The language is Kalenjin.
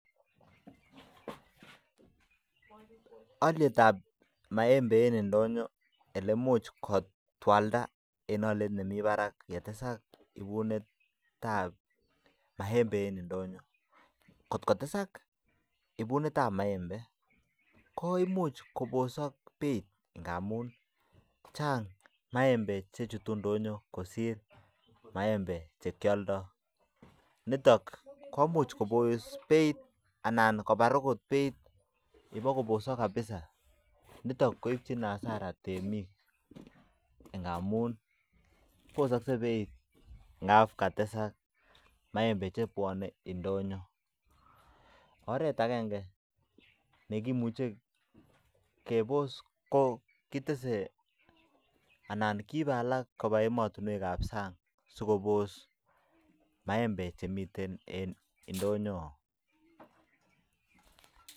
Aliet ab (maembe) eng indonyoo oleimuch kotwalda eng aliet nemii barak kotesak ibunet ab (maembe) kotesak komuch kobus beit amuu chang (maembe) oret neimuche kibos ko keib emet ab sang